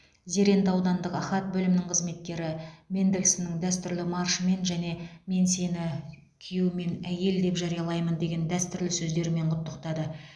зеренді аудандық ахат бөлімінің қызметкері мендельсонның дәстүрлі маршымен және мен сені күйеу мен әйел деп жариялаймын деген дәстүрлі сөздерімен құттықтады